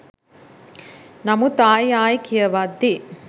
නමුත් ආයි ආයි කියවද්දි